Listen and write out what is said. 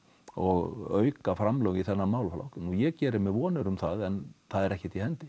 og auka framlög í þennan málaflokk ég geri mér vonir um það en það er ekkert í hendi